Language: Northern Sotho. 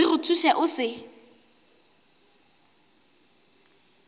re go thuše o se